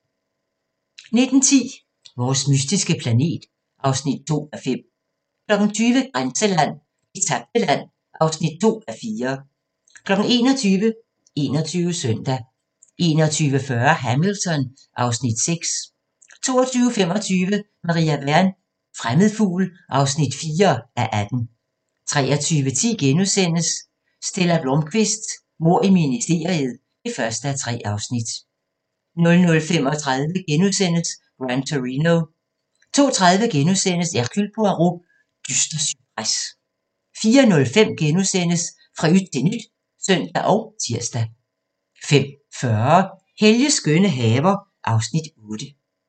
19:10: Vores mystiske planet (2:5) 20:00: Grænseland - Det tabte land (2:4) 21:00: 21 Søndag 21:40: Hamilton (Afs. 6) 22:25: Maria Wern: Fremmed fugl (4:18) 23:10: Stella Blómkvist: Mord i ministeriet (1:3)* 00:35: Gran Torino * 02:30: Hercule Poirot: Dyster cypres * 04:05: Fra yt til nyt *(søn og tir) 05:40: Helges skønne haver (Afs. 8)